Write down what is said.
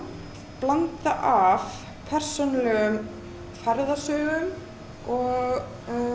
blanda af persónulegum ferðasögum og